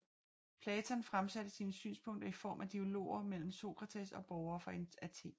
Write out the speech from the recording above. Platon fremsatte sine synspunkter i form af dialoger mellem Sokrates og borgere fra Athen